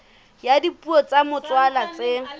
ya dipuo tsa motswalla tse